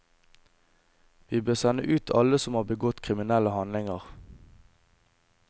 Vi bør sende ut alle som har begått kriminelle handlinger.